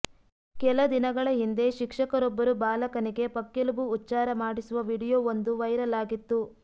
ಕೆಲ ದಿನಗಳ ಹಿಂದೆ ಶಿಕ್ಷಕರೊಬ್ಬರು ಬಾಲಕನಿಗೆ ಪಕ್ಕೆಲುಬು ಉಚ್ಚಾರ ಮಾಡಿಸುವ ವಿಡಿಯೋ ಒಂದು ವೈರಲ್ ಆಗಿತ್ತು